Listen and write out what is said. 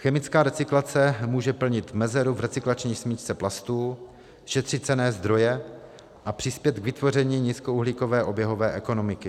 Chemická recyklace může plnit mezeru v recyklační smyčce plastů, šetřit cenné zdroje a přispět k vytvoření nízkouhlíkové oběhové ekonomiky.